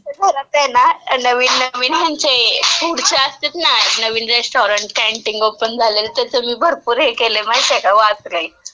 आता मी घरात आहे ना, नवीन नवीन ह्यांचे, फूडचे असतात ना, नवीन रेस्टॉरंट, कँटिंग ओपन झालेले, त्याचं मी भरपूर ही केलंय, माहितीय का, वाचलंय.